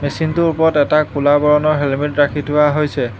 মেচিনটোৰ ওপৰত এটা ক'লা বৰণৰ হেলমেট ৰাখি থোৱা হৈছে।